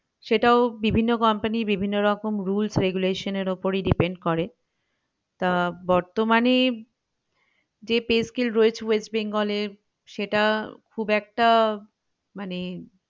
সেটাও বিভিন্ন company বিভিন্ন রকম rules regulations এর ওপরই depend করে আহ বর্তমানে যে pay scale রয়েছে ওয়েস্ট বেঙ্গল এ সেটা খুব একটা মানে